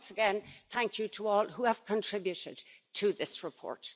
And once again, thank you to all who have contributed to this report.